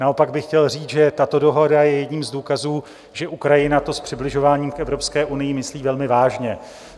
Naopak bych chtěl říct, že tato dohoda je jedním z důkazů, že Ukrajina to s přibližováním k Evropské unii myslí velmi vážně.